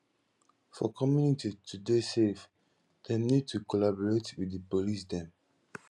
for community to dey safe dem need to collaborate with di police dem